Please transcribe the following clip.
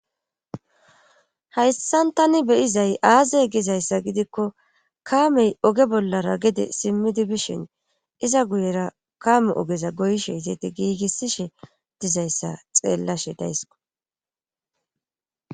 hayssan tani beyizay aazey gizayssa gidikko kaamey oge bollara gede simmidi bishin iza guyera kaame ogeza goyshe izati giigissishe dizayssa xeellashe daysko